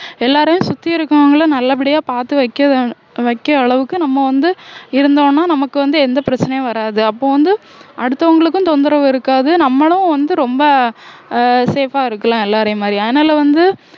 எல்லாரையும் சுத்தி இருக்கவங்களை நல்லபடியா பார்த்து வைக்கிதா~ வைக்கிற அளவுக்கு நம்ம வந்து இருந்தோம்னா நமக்கு வந்து எந்த பிரச்சனையும் வராது அப்ப வந்து அடுத்தவங்களுக்கும் தொந்தரவு இருக்காது நம்மளும் வந்து ரொம்ப அஹ் safe ஆ இருக்கலாம் எல்லாரையும் மாதிரி அதனால வந்து